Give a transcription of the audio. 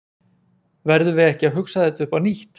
Verðum við ekki að hugsa þetta upp á nýtt?